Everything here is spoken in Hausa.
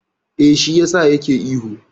Eh, shi yasa ya ke ihu.